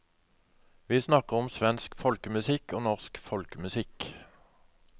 Vi snakker om svensk folkemusikk og norsk folkemusikk.